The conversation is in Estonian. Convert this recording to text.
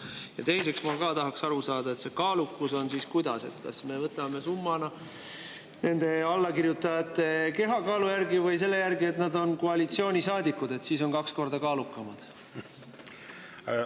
Ja teiseks ma tahaks aru saada, et see kaalukus on siis kuidas: kas me võtame nende allakirjutajate kehakaalu summa järgi või selle järgi, et kui nad on koalitsioonisaadikud, siis on kaks korda kaalukamad?